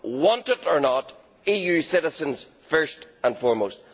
want it or not, EU citizens first and foremost.